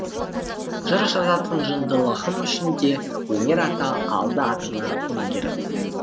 жыр жазатын жындылығым үшін де өнер ата алды атына өңгеріп